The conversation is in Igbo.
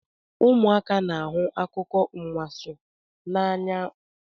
Ụmụaka na-ahụ akụkọ anwansi n'anya